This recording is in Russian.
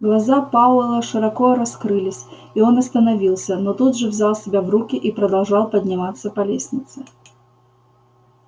глаза пауэлла широко раскрылись и он остановился но тут же взял себя в руки и продолжал подниматься по лестнице